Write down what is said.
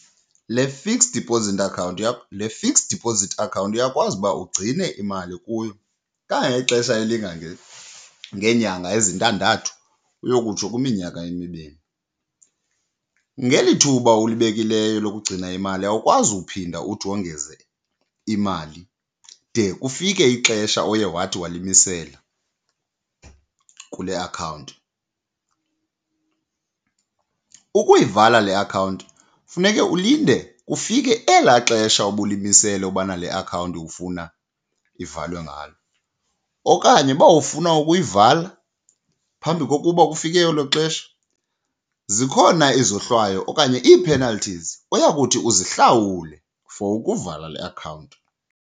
Le fixed deposit account yakho, le fixed deposit account uyakwazi uba ugcine imali kuyo kangangexesha ngeenyanga ezintandathu uyokutsho kwiminyaka emibini. Ngeli thuba ulibekileyo lokugcina imali awukwazi uphinda uthi wongeze imali de kufike ixesha oye wathi walimisela kule akhawunti. Ukuyivala le akhawunti funeke ulinde kufike elaa xesha ubulimisele ubana le akhawunti ufuna ivalwe ngalo, okanye uba ufuna ukuyivala phambi kokuba kufike elo xesha zikhona izohlwayo okanye ii-penalties oyakuthi uzihlawule for ukuvala le akhawunti.